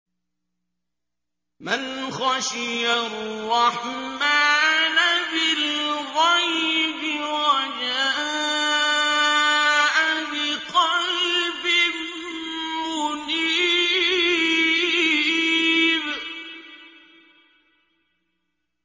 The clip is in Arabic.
مَّنْ خَشِيَ الرَّحْمَٰنَ بِالْغَيْبِ وَجَاءَ بِقَلْبٍ مُّنِيبٍ